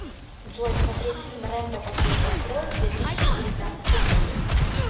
джой смотреть фильм рэмбо последняя кровь две тысячи девятнадцатый год